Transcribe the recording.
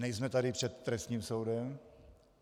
Nejsme tady před trestním soudem.